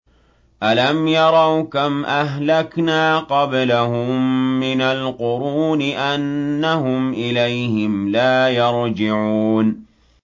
أَلَمْ يَرَوْا كَمْ أَهْلَكْنَا قَبْلَهُم مِّنَ الْقُرُونِ أَنَّهُمْ إِلَيْهِمْ لَا يَرْجِعُونَ